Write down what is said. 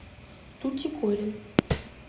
тутикорин